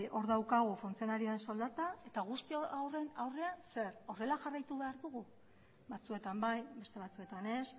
hor daukagu funtzionarioen soldata eta guzti horren aurrean zer horrela jarraitu behar dugu batzuetan bai beste batzuetan ez